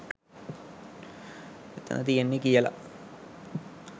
එතන තියෙන්නේ කියල.